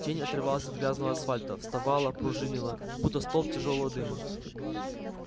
тень отрывалась от грязного асфальта вставала пружинила будто столб тяжёлого дыма